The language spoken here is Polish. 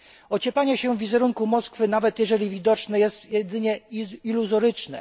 Ocieplanie się wizerunku Moskwy, nawet jeżeli jest widoczne, jest jedynie iluzoryczne.